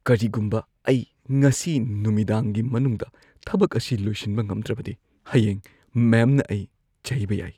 ꯀꯔꯤꯒꯨꯝꯕ ꯑꯩ ꯉꯁꯤ ꯅꯨꯃꯤꯗꯥꯡꯒꯤ ꯃꯅꯨꯡꯗ ꯊꯕꯛ ꯑꯁꯤ ꯂꯣꯏꯁꯤꯟꯕ ꯉꯝꯗ꯭ꯔꯕꯗꯤ, ꯍꯌꯦꯡ ꯃꯦꯝꯅ ꯑꯩ ꯆꯩꯕ ꯌꯥꯏ꯫